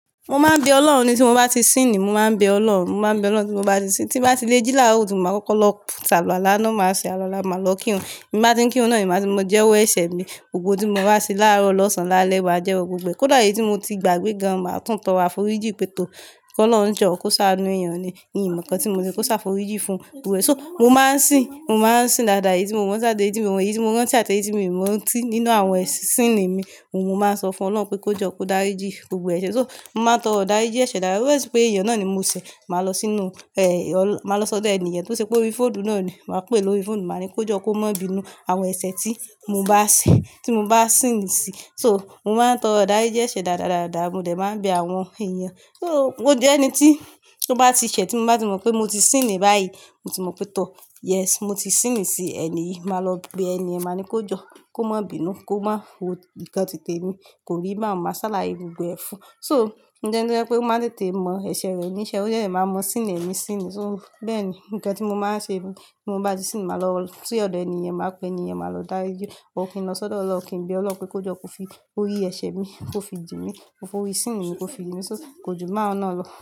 Mo máa ń bẹ Ọlọ́run. Tí mo bá ti síìnì, mo máa ń bẹ Ọlọ́run. Mo máa ń bẹ Ọlọ́run tí mo bá ti sín, tí mo bá ti lé jí làárọ̀ kutu ma kọ́kọ́ lọ ṣe aluwala náà, máa ṣe àluwala máa lọ kírun. Bí m bá ti ń kírun náà, ni máa ti mọ jẹ́ owó ẹ̀ṣẹ̀ mi. Gbogbo ohun tí mo bá ṣe láàárọ̀ lọ́sàn-án lálẹ́ wa jẹ́ wọ gbogbo ẹ. Kódà èyí tí mo ti gbàgbé gan an máa tún tọrọ aforí jíì pé tó kí Ọlọ́run jọ kó ṣá inú èèyàn ni, Mii mọ nǹkan tí mo ṣe kó ṣá forí jíì fún gbogbo ẹ̀. So, mo máa ń sìn, mo máa ń sìn dáadáa. Èyí tí mo mọ́ jáde, èyí tí mo wọ̀, èyí tí mo rántí àti èyí tí mo ì mọ́ rántí nínú àwọn ẹ̀ sìni mi, mo máa n sọ fún Ọlọ́run pé kó jọ kó dárijì gbogbo ẹ̀ṣẹ̀. So, mo máa ń tọrọ̀ idáriji ẹ̀ṣẹ̀ daadaaa. Ó jẹ́ pé èèyàn náà ni mo ṣẹ̀, màá lọ sínú, èé, ọ̀lọ́, màá lọ sọ̀dẹ̀ ẹni èyí tó ṣe pé ó rí fóònù náà ni. Màá pè é lórí fóònù, màá ní kó jọ kó má bí inú àwọn ẹ̀ṣẹ̀ tí mo bá ṣe, tí mo bá sìn sí. So, mo máa ń tọrọ idá riji ẹ̀ṣẹ̀ dáadadaada, mo dẹ̀ máa ń bẹ àwọn èèyàn. So, ó jẹ́ ẹni tí tó bá ti ṣẹ̀ tí mo bá ti mọ̀ pé mo ti sìn ni báyìí, mo ti mọ̀ pé tọ̀, yes, mo ti sìn sí ẹni yìí, màá lọ bí ẹni è, màá ní kó jọ kó má bí inú, kó má wo nǹkan tìtẹ mi, kò rí, ba hun máa sáláa gbogbo ẹ fún. So, ńjẹ́ ẹni pé ó máa ń tètè mọ ẹ̀ṣẹ̀ rẹ níṣẹ́, ó jẹ́ ẹ máa mọ síìnì ẹ ni síìnì. So, bẹ́ẹ̀ ni nǹkan tí mo máa ń ṣe ni. Bí mo bá ti sìn, màá lọ sí ọ̀dọ̀ ẹni yẹn, màá pè ẹni è, màá lọ dárí jíì. Or kí n lọ sọ́dọ̀ Ọlọ́run, kí n bẹ Ọlọ́run pé kó jọ kó fi orí ẹ̀ṣẹ̀ mi kó fi jìmi, kó fi síìnì mi kó fi jimi. So, kò jù bahun naa lọ́.